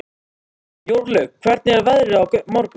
Jórlaug, hvernig er veðrið á morgun?